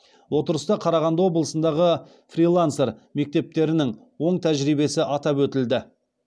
отырыста қарағанды облысындағы фрилансер мектептерінің оң тәжірибесі атап өтілді